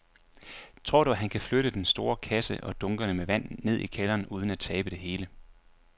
Tror du, at han kan flytte den store kasse og dunkene med vand ned i kælderen uden at tabe det hele?